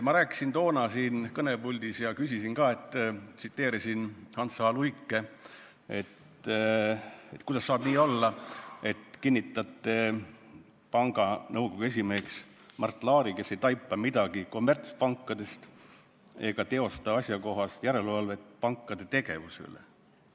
Ma rääkisin tookord siin kõnepuldis ja küsisin ka, tsiteerides Hans H. Luike, et kuidas saab nii olla, et te kinnitate panga nõukogu esimeheks Mart Laari, kes ei taipa midagi kommertspankadest ega teosta asjakohast järelevalvet pankade tegevuse üle.